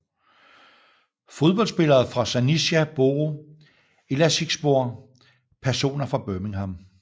Fodboldspillere fra Sanica Boru Elazığspor Personer fra Birmingham